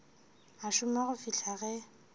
a šoma go fihla ge